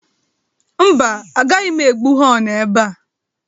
Mba, agaghị m egbu họnụ ebe a.